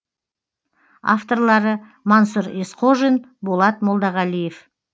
авторлары мансұр есқожин болат молдағалиев